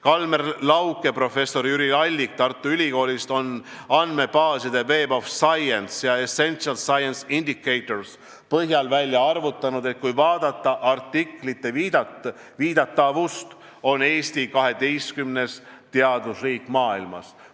Kalmer Lauk ja professor Jüri Allik Tartu Ülikoolist on andmebaaside Web of Science ja Essential Science Indicators põhjal välja arvutanud, et kui vaadata artiklite viidatavust, siis on Eesti 12. teadusriik maailmas.